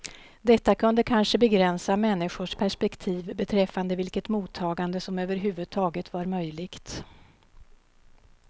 Detta kunde kanske begränsa människors perspektiv beträffande vilket mottagande som överhuvudtaget var möjligt.